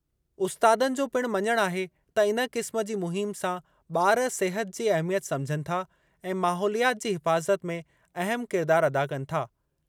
उस्तादनि जो पिणु मञणु आहे त इन क़िस्म जी मुहिम सां ॿार सिहत जी अहमियत सम्झनि था ऐं माहौलियात जी हिफ़ाज़त में अहम किरदार अदा कनि था।